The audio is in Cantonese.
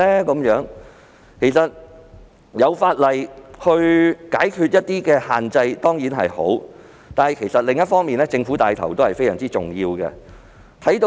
能夠透過法例解決一些限制當然是好事，但政府的帶頭作用也是相當重要的。